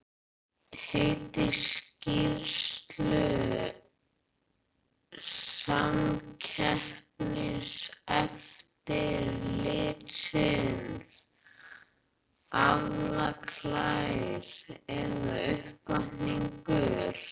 Heiti skýrslu Samkeppniseftirlitsins, Aflaklær eða uppvakningar?